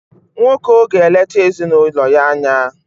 Nwoko ga-eleta ezinụlọ ya anya.